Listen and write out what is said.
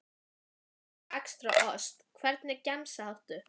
Skinku og extra ost Hvernig gemsa áttu?